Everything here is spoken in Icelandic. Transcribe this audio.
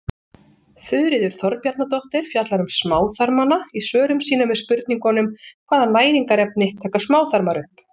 Þuríður Þorbjarnardóttir fjallar um smáþarmana í svörum sínum við spurningunum Hvaða næringarefni taka smáþarmar upp?